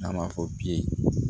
N'an b'a fɔ bi